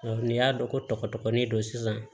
n'i y'a dɔn ko tɔgɔ dɔgɔnin don sisan